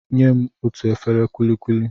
Nyem otú efere kulikuli!